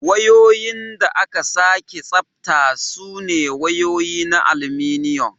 Wayoyin da aka sake tsabta sune wayoyi na aluminum.